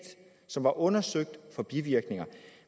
som var undersøgt for bivirkninger